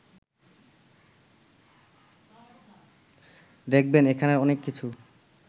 দেখবেন এখানের অনেক কিছু